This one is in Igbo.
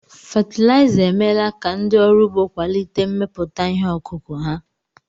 Fatịlaịza emeela ka ndị ọrụ ugbó kwalite mmepụta ihe ọkụkụ̀ ha.